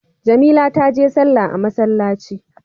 Jamila taje sallah a masallci.